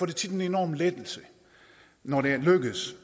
det tit en enorm lettelse når det lykkes